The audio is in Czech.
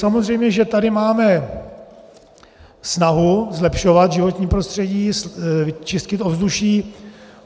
Samozřejmě že tady máme snahu zlepšovat životní prostředí, čistit ovzduší.